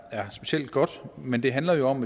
er specielt godt men det handler jo om